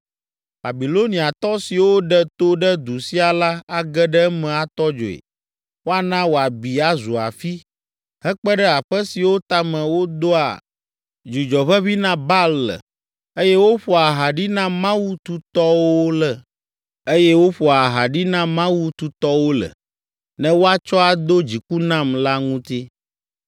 Babiloniatɔ siwo ɖe to ɖe du sia la age ɖe eme atɔ dzoe. Woana wòabi azu afi, hekpe ɖe aƒe siwo tame wodoa dzudzɔ ʋeʋĩ na Baal le eye woƒoa aha ɖi na mawu tutɔwo le, ne woatsɔ ado dziku nam la ŋuti.